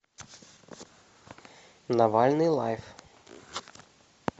навальный лайв